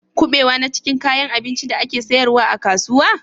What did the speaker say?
Kuɓewa na cikin kayan abincin da ake sayarwa a kasuwa?